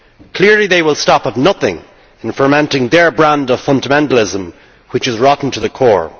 Clearly they will stop at nothing in fomenting their brand of fundamentalism, which is rotten to the core.